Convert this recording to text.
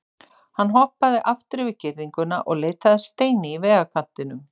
Hann hoppaði aftur yfir girðinguna og leitaði að steini í vegarkantinum.